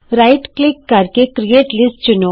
ਸੱਜਾ ਕਲਿਕ ਕਰਕੇ create list ਚੁਣੋ